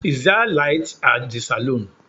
Is there light at the salon?